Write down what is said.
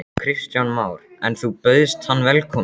Kristján Már: En þú bauðst hann velkomin?